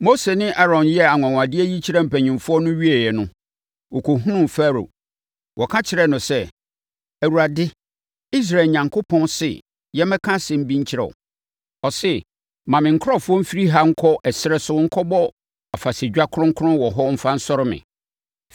Mose ne Aaron yɛɛ anwanwadeɛ yi kyerɛɛ mpanimfoɔ no wieeɛ no, wɔkɔhunuu Farao. Wɔka kyerɛɛ no sɛ, “ Awurade, Israel Onyankopɔn se yɛmmɛka asɛm bi nkyerɛ wo. Ɔse, ‘Ma me nkurɔfoɔ mfiri ha nkɔ ɛserɛ so nkɔbɔ afahyɛdwa kronkron wɔ hɔ mfa nsɔre me.’ ”